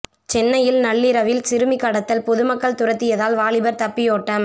சென்னையில் நள்ளிரவில் சிறுமி கடத்தல் பொதுமக்கள் துரத்தியதால் வாலிபர் தப்பி ஓட்டம்